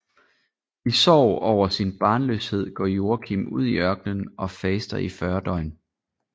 I sorg over sin barnløshed går Joakim ud i ørkenen og faster i 40 døgn